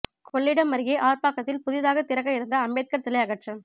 கொள்ளிடம் அருகே ஆர்ப்பாக்கத்தில் புதிதாக திறக்க இருந்த அம்பேத்கர் சிலை அகற்றம்